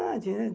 né?